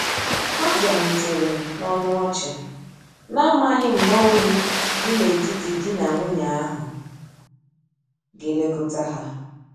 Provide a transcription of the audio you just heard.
Ha biarutere na ọnụ ọchi, na amaghi mgba oyi di na etiti di na nwunye ahu ga elekota ha.